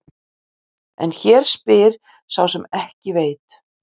En hér spyr sá sem ekki veit.